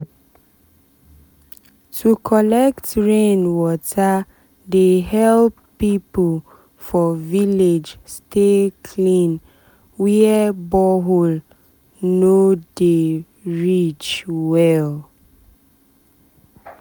to collect rain water dey help people for village stay clean where borehole no borehole no dey reach well.